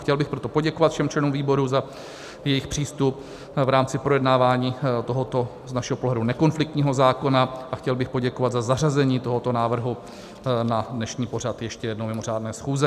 Chtěl bych proto poděkovat všem členům výboru za jejich přístup v rámci projednávání tohoto z našeho pohledu nekonfliktního zákona a chtěl bych poděkovat za zařazení tohoto návrhu na dnešní pořad ještě jednou mimořádné schůze.